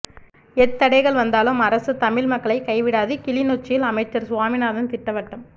எத் தடைகள் வந்தாலும் அரசு தமிழ் மக்களை கைவிடாது கிளிநொச்சியில் அமைச்சர் சுவாமிநாதன் திட்டவட்டம்